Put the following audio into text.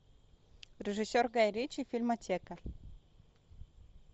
режиссер гай ричи фильмотека